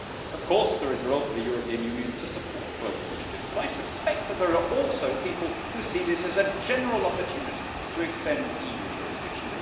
Of course there is a role for the European Union to support global initiatives, but I suspect that there are also people who see this as a general opportunity to extend EU jurisdiction.